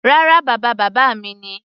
Rárá, bàba bàbá mi ni.